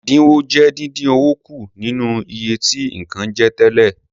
Ẹdinwo jẹ́ dindin owó kù nínú iye tí nǹkan je tẹ́lẹ̀.